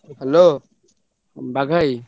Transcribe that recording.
Hello Bagha ଭାଇ!